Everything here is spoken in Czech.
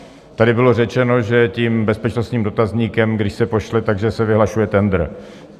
Tady bylo řečeno, že tím bezpečnostním dotazníkem, když se pošle, tak se vyhlašuje tendr.